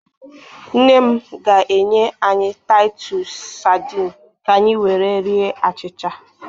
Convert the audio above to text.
Nne m ga-enye anyị Taịtus sadịn kanyị were rie achịcha.